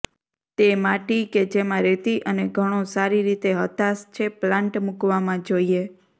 તે માટી કે જેમાં રેતી અને ઘણો સારી રીતે હતાશ છે પ્લાન્ટ મૂકવામાં જોઈએ